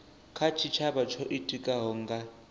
kha tshitshavha tsho itikaho nga